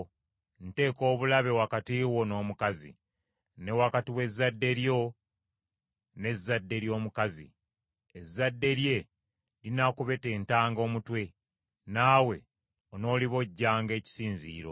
Nteeka obulabe wakati wo n’omukazi, ne wakati w’ezzadde lyo n’ezzadde ly’omukazi; ezzadde lye linaakubetentanga omutwe, naawe onoolibojjanga ekisinziiro.